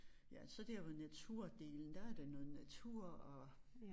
Ja så dér hvor naturdelen der er der noget natur og